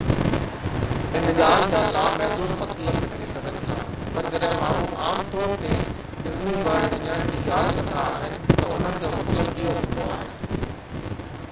ان ڳالهه جا لامحدود مطلب نڪري سگهن ٿا پر جڏهن ماڻهو عام طور تي ”ڊزني ورلڊ وڃڻ جي ڳالهه ڪندا آهن ته انهن جو مطلب اهو هوندو آهي